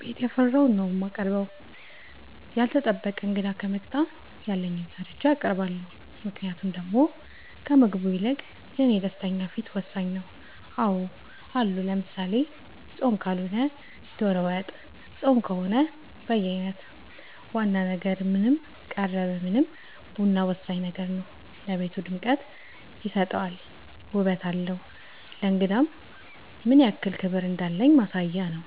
ቤት ያፈራውን ነው የማቀርበው ያልታሰበ እንግዳ ከመጣ ያለኝን ሰርቼ አቀርባለሁ ምክንያቱም ደሞ ከምግቡ ይልቅ የኔ ደስተኛ ፊት ወሳኝ ነው አዎ አሉ ለምሳሌ ፆም ካልሆነ ዶሮ ወጥ ፆም ከሆነ በየአይነት ዋና ነገር ምንም ቀረበ ምንም ቡና ወሳኝ ነገር ነው ለቤቱ ድምቀት ይሰጣል ውበት አለው ለእንግዳም ምንያክል ክብር እንዳለን ማሳያ ነው